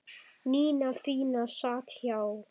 Nína fína sat hjá